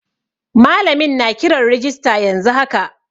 Malamin na kiran rijista yanzu haka.